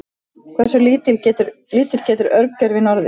hversu lítill getur örgjörvinn orðið